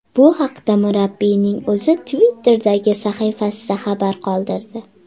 Bu haqda murabbiyning o‘zi Twitter’dagi sahifasida xabar qoldirdi.